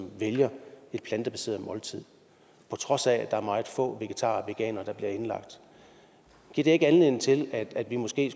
vælger et plantebaseret måltid på trods af at der er meget få vegetarer og veganere der bliver indlagt giver det ikke anledning til at vi måske